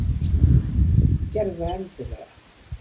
Gerðu það endilega!